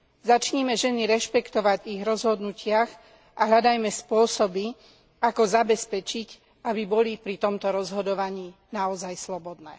Začnime ženy rešpektovať v ich rozhodnutiach a hľadajme spôsoby, ako zabezpečiť, aby boli pri tomto rozhodovaní naozaj slobodné.